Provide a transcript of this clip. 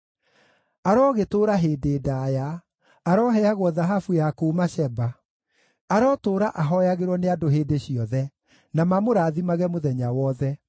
Arogĩtũũra hĩndĩ ndaaya! Aroheagwo thahabu ya kuuma Sheba. Arotũũra ahooyagĩrwo nĩ andũ hĩndĩ ciothe, na mamũrathimage mũthenya wothe.